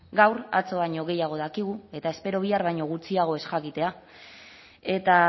gaur atzo baino gehiago dakigu eta espero bihar baino gutxiago ez jakitea eta